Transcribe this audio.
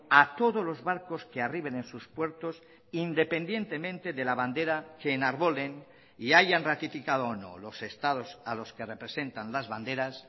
a todos los barcos que arriben en sus puertos independientemente de la bandera que enarbolen y hayan ratificado o no los estados a los que representan las banderas